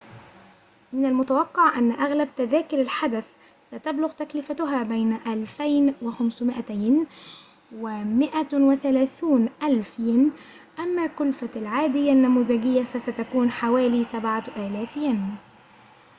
من المتوقع أن أغلب تذاكر الحدث ستبلغ تكلفتها بين 2,500 ين و 130,000 ين أما كلفة العادية النموذجية فستكون حوالي 7,000 ين